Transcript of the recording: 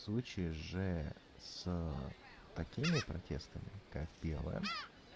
в случае же с такими протестами как белая